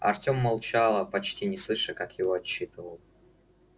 артем молчал почти не слыша как его отчитывал